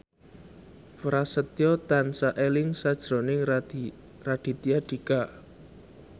Prasetyo tansah eling sakjroning Raditya Dika